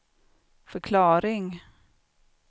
förklaring